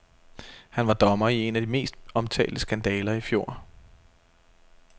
Han var dommer i en af de mest omtalte skandaler i fjor.